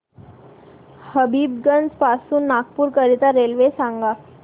हबीबगंज पासून नागपूर करीता रेल्वे सांगा